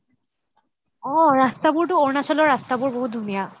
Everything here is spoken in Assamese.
অহ ৰাস্তাবোৰটো অৰুণাচলৰ ৰাস্তাবোৰ বহুত ধুনীয়া